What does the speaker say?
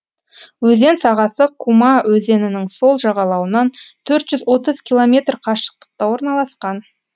өзен сағасы кума өзенінің сол жағалауынан төрт жүз отыз километр қашықтықта орналасқан